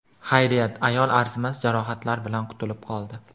Xayriyat, ayol arzimas jarohatlar bilan qutulib qoldi.